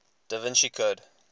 da vinci code